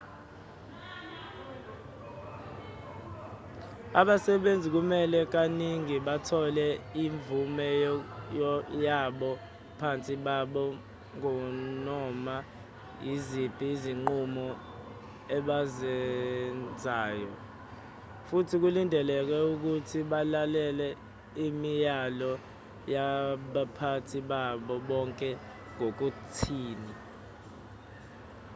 abasebenzi kumele kaningi bathole imvume yabaphathi babo nganoma yiziphi izinqumo ebazenzayo futhi kulindeleke ukuthi balalele imiyalo yabaphathi babo ngale kokuthini